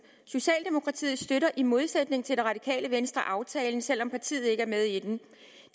socialdemokratiet støtter i modsætning til det radikale venstre aftalen selv om partiet ikke er med i den